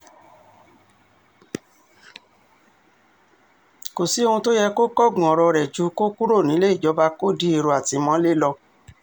kò sí ohun tó yẹ kó kángun ọ̀rọ̀ rẹ̀ ju kó kúrò nílé ìjọba kó di èrò ìtìmọ́lé lọ